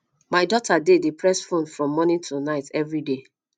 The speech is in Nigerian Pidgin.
my daughter dey dey press phone from morning till night everyday